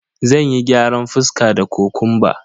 Zanyi gyaran fuska da kokumba.